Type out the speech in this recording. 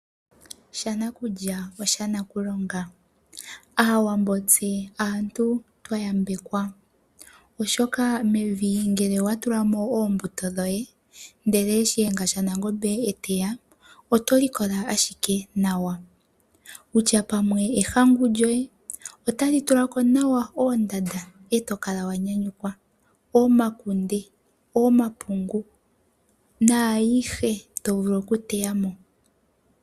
Shanakulya oshanakulonga. Aawambo tse aantu twa yambekwa, oshoka mevi ngele owa tula mo oombuto dhoye ndele Shiyenga shaNangombe e teya oto likola ashike nawa, wutya pamwe ehangu lyoye, otali tula ko nawa oonanda e to kala wa nyanyukwa, omakunde, omapungu naayihe to vulu okuteya mo.